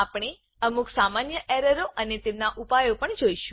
આપણે અમુક સામાન્ય એરરો અને તેમનાં ઉપાયો પણ જોઈશું